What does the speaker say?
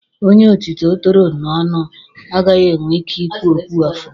Onye otito toro n'ọnụ agaghị enwe ike ị kwu okwu ọfụma.